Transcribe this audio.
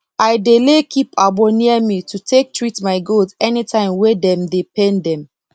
i dey lay keep agbo near me to take treat my goat anytime wey dem dey pain dem